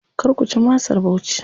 Kar ku ci masar Bauchi.